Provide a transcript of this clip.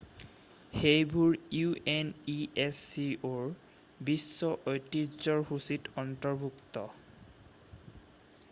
সেইবোৰ unescoৰ বিশ্ব ঐতিহ্যৰ সূচীত অন্তৰ্ভুক্ত।